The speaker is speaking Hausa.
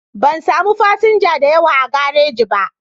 Ban samu fasinja da yawa a garaji ba